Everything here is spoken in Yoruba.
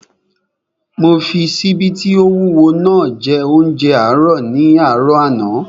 Mo fi ṣíbí tí ó wúwo naa jẹ óúnjẹ àárọ̀ ní àárọ̀ àná